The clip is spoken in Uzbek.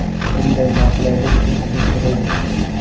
Bunday noqulaylik uchun uzr so‘raymiz.